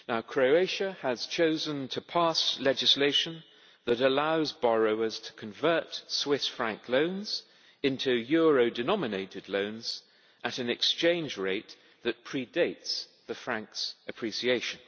Croatia has chosen to pass legislation that allows borrowers to convert Swiss franc loans into euro denominated loans at an exchange rate that pre dates the franc's appreciation.